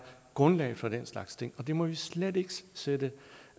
grundlaget for den slags ting og det må vi slet ikke sætte